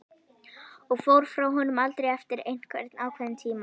Og fór frá honum aftur eftir einhvern ákveðinn tíma.